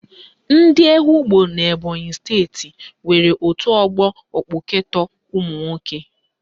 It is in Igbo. Ndị Ehugbo n'Ebonyi steeti nwere otu ọgbọ ekpụketọ ụmụnwoke